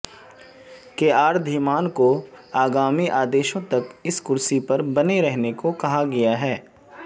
K R Dhiman को आगामी आदेशों तक इस कुर्सी पर बने रहने को कहा गया है